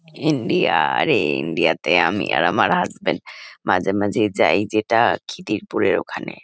India আরে India -তে আমি আর আমার হাসবেন্ড মাঝেমাঝেই যাই যেটা খিদিরপুরের ওখানে।